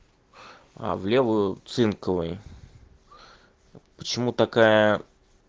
а в левую цинковые почему такая